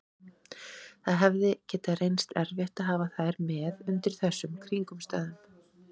Það hefði getað reynst erfitt að hafa þær með undir þessum kringumstæðum.